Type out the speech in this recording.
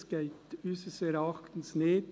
Das geht unseres Erachtens nicht.